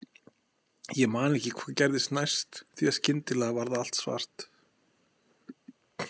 Ég man ekki hvað gerðist næst, því að skyndilega varð allt svart.